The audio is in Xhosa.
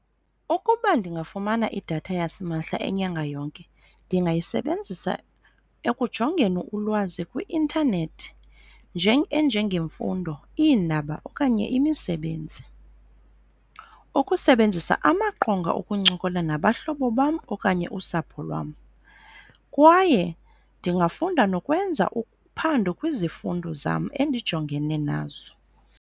Ukuba ndingafumana idatha yasimahla inyanga yonke ndingayisebenzisa ekujongeni ulwazi kwi-intanethi enjengemfundo, iindaba, okanye imisebenzi, ukusebenzisa amaqonga okuncokola nabahlobo bam okanye usapho lwam kwaye ndingafunda nokwenza uphando kwizifundo zam endijongene nazo.